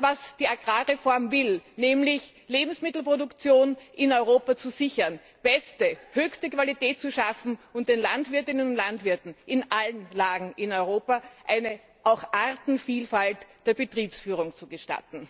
was die Agrarreform will, nämlich die Lebensmittelproduktion in Europa sichern, beste, höchste Qualität schaffen und den Landwirtinnen und Landwirten in allen Lagen in Europa auch eine Artenvielfalt bei der Betriebsführung zu gestatten.